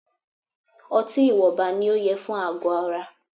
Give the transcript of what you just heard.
Ọtí ìwọnba ní o yẹ fún àgọ ara.